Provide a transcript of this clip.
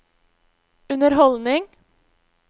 underholdning